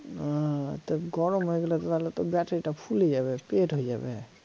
ও তা গরম হয়ে গেলে তো তাহলে তো battery টা ফুলে যাবে পেট হয়ে যাবে